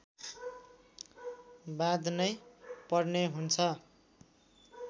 बाँध्नै पर्ने हुन्छ